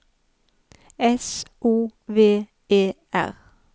S O V E R